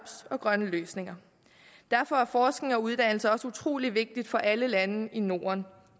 og grønne løsninger derfor er forskning og uddannelse også utrolig vigtigt for alle lande i norden